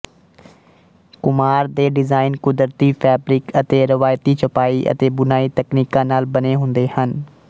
ਕੁਮਾਰ ਦੇ ਡਿਜ਼ਾਈਨ ਕੁਦਰਤੀ ਫੈਬਰਿਕ ਅਤੇ ਰਵਾਇਤੀ ਛਪਾਈ ਅਤੇ ਬੁਣਾਈ ਤਕਨੀਕਾਂ ਨਾਲ ਬਣੇ ਹੁੰਦੇ ਹਨ